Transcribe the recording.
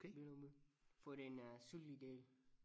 Billund by for den øh sydlige del